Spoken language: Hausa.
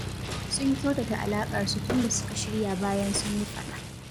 Sun kyautata alaƙarsu tun da suka shirya bayan sun yi faɗa